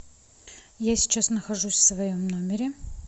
я сейчас нахожусь в своем номере